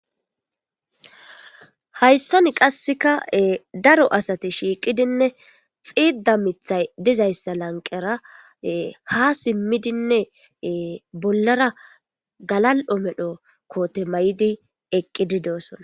Hayssan qasseka daro asate shiiqidinne xiidda mithay dizayssa lanqera ha simmidinne bollara galal7o medho koote may7idi eqqidi doosona.